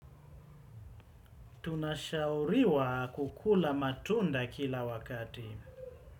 Tunashauriwa, kukula matunda, kila wakati.